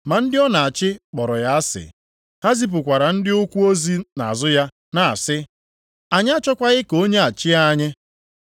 “Ma ndị ọ na-achị kpọrọ ya asị, ha zipụkwara ndị ụkwụ ozi nʼazụ ya na-asị, ‘Anyị achọkwaghị ka onye a chịa anyị.’